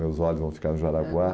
Meus olhos vão ficar no Jaraguá